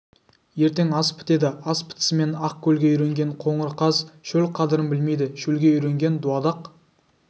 ертең ас бітеді ас бітісімен ақ көлге үйренген қоңыр қаз шөл қадірін білмейді шөлге үйренген дуадақ